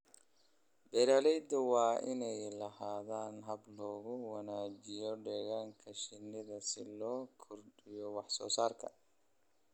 Beeralayda waa inay lahaadaan habab lagu wanaajiyo deegaanka shinnida si loo kordhiyo wax soo saarka.